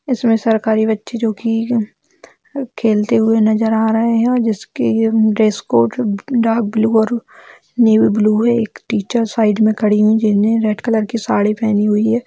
इसमें सरकारी बच्चे जो की खेलते हुए नजर आ रहे हैं और जिसके लिए ड्रेस कोड डार्क ब्लू और नेवी ब्लू है एक टीचर साइड में खड़ी हुई है जिसने रेड कलर की साड़ी पेहनी हुई है।